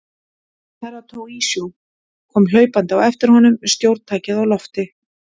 Herra Toahizo kom hlaupandi á eftir honum með stjórntækið á lofti.